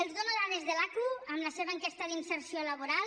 els dono dades de l’aqu amb la seva enquesta d’inserció laboral